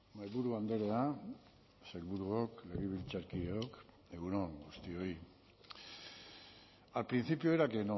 mahaiburu andrea sailburuok legebiltzarkideok egun on guztioi al principio era que